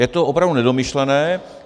Je to opravdu nedomyšlené.